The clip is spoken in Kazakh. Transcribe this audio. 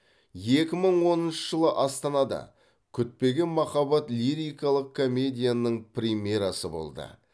екі мың оныншы жылы астанада күтпеген махаббат лирикалық комедияның премьерасы болды